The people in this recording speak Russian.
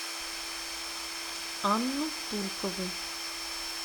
анну туркову